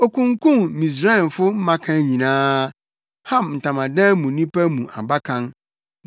Okunkum Misraimfo mmakan nyinaa, Ham ntamadan mu nnipa mu abakan.